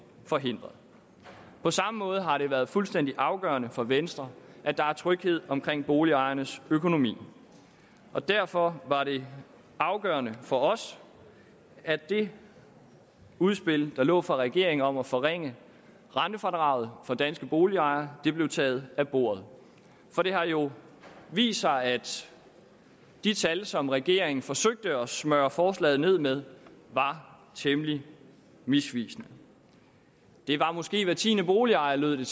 forhindret på samme måde har det været fuldstændig afgørende for venstre at der er tryghed omkring boligejernes økonomi derfor var det afgørende for os at det udspil der lå fra regeringen om at forringe rentefradraget for danske boligejere blev taget af bordet for det har jo vist sig at de tal som regeringen forsøgte at smøre forslaget med var temmelig misvisende det var måske hver tiende boligejer lød